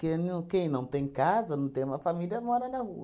Porque no quem não tem casa, não tem uma família, mora na rua.